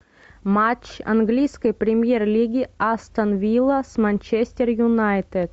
матч английской премьер лиги астон вилла с манчестер юнайтед